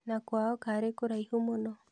Na kwao karĩ kũraihu mũno?